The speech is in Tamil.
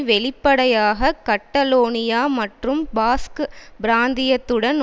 வெளிப்படையாக கட்டலோனியா மற்றும் பாஸ்க் பிராந்தியத்துடன்